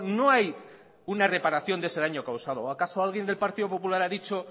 no hay una reparación de ese daño causado o acaso alguien del partido popular ha dicho